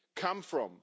come from.